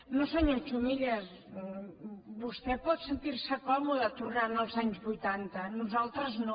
no senyor chumillas vostè pot sentir se còmode tornant als anys vuitanta nosaltres no